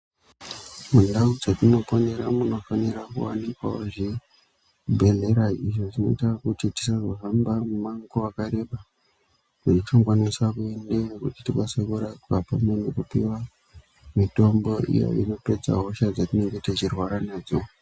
Mundau dzatinoponera munofanira kuwanikwa zvibhedhlera izvo zvinoita kuti tisazohamba mimango wakareba yetinokwanisa kuendeyo kuti tikwanise kurapwa pamwe nekupiwa mitombo iyo inopedza hosha dzatinenge teirwara nadzo.